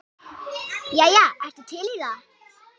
Jæja, ertu til í það?